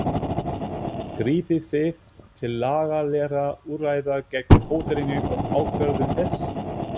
Grípið þið til lagalegra úrræða gegn hótelinu og ákvörðun þess?